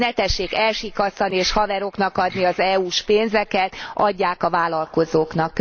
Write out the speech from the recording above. Ne tessék elsikkasztani és haveroknak adni az EU s pénzeket, adják a vállalkozóknak.